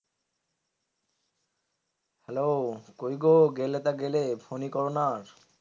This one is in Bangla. হ্যালো কোই গো গেলে তা গেলে তা গেলে ফোন ই করো না আর?